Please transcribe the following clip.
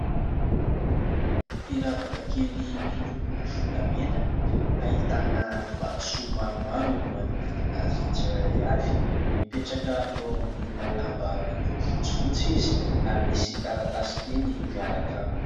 Firavaka kely miloko volamena, ahitana vatosoa maromaro, manodidina azy tsiraray avy. Mipetraka eo ambonina lamba miloko fotsifotsy izy; ary misy taratasy kely miaraka aminy.